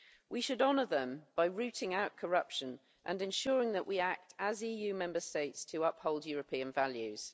We should honour them by rooting out corruption and ensuring that we act, as EU Member States, to uphold European values.